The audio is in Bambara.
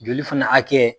Joli fana hakɛ